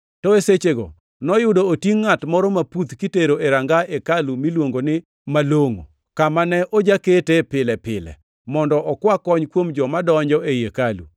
To e sechego noyudo otingʼ ngʼat moro maputh kitero e ranga hekalu miluongo ni Malongʼo, kama ne ojaketee pile pile, mondo okwa kony kuom joma donjo ei hekalu.